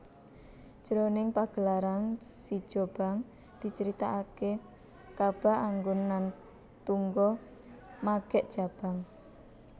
Jroning pagelaran sijobang dicaritakaké Kaba Anggun Nan Tungga Magek Jabang